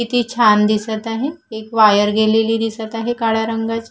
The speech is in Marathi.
किती छान दिसत आहे एक वायर दिसत आहे काळ्या रंगाची.